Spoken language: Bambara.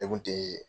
Ne kun tee